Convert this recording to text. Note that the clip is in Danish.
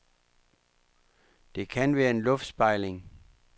Det kan være en luftspejling.